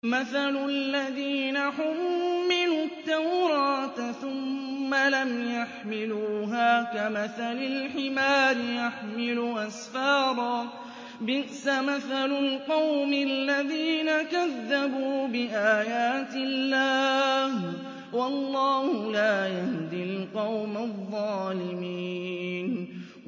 مَثَلُ الَّذِينَ حُمِّلُوا التَّوْرَاةَ ثُمَّ لَمْ يَحْمِلُوهَا كَمَثَلِ الْحِمَارِ يَحْمِلُ أَسْفَارًا ۚ بِئْسَ مَثَلُ الْقَوْمِ الَّذِينَ كَذَّبُوا بِآيَاتِ اللَّهِ ۚ وَاللَّهُ لَا يَهْدِي الْقَوْمَ الظَّالِمِينَ